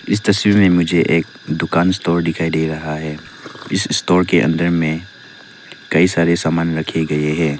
इस तस्वीर में मुझे एक दुकान स्टोर दिखाई दे रहा है इस स्टोर के अंदर मे कई सारे सामान रखे गए है।